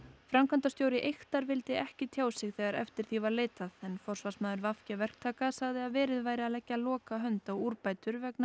framkvæmdastjóri Eyktar vildi ekki tjá sig þegar eftir því var leitað en forsvarsmaður v g verktaka sagði að verið væri að leggja lokahönd á úrbætur vegna